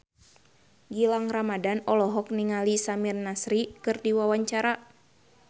Gilang Ramadan olohok ningali Samir Nasri keur diwawancara